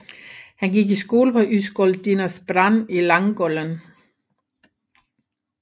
Han gik i skole på Ysgol Dinas Brân i Llangollen